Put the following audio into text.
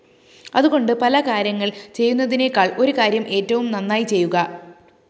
അതുകൊണ്ട് പലകാര്യങ്ങള്‍ ചെയ്യുന്നതിനേക്കാള്‍ ഒരു കാര്യം ഏറ്റവും നന്നായി ചെയ്യുക